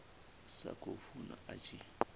sa khou funa a tshi